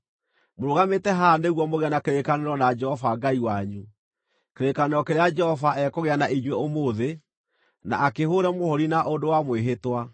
Mũrũgamĩte haha nĩguo mũgĩe na kĩrĩkanĩro na Jehova Ngai wanyu, kĩrĩkanĩro kĩrĩa Jehova ekũgĩa na inyuĩ ũmũthĩ, na akĩhũũre mũhũũri na ũndũ wa mwĩhĩtwa,